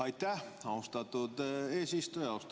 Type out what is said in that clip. Aitäh, austatud eesistuja!